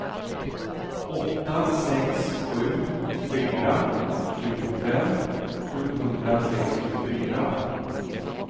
åtta sex sju fyra tjugofem sjuhundrasextiofyra